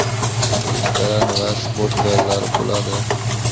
restoran va sport zallari bo‘ladi.